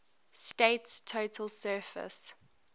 state's total surface